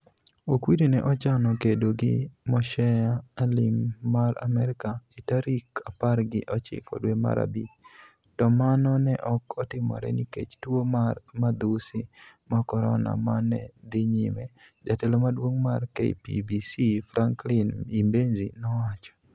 "Okwiri ne ochano kedo gi Moshea Aleem mar Amerka e tarik apar gi ochiko dwe mar abich, to mano ne ok otimore nikech tuo mar madhusi mag Corona ma ne dhi nyime, " Jatelo maduong' mar KPBC Frankline Imbenzi nowacho.